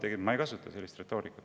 Veel kord: ma ei kasuta sellist retoorikat.